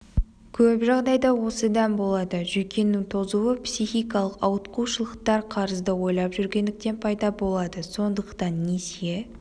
көп жағдайда осыдан болады жүйкенің тозуы психикалық ауытқушылықтар қарызды ойлап жүргендіктен пайда болады сондықтан несие